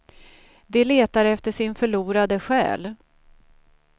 De letar efter sin förlorade själ.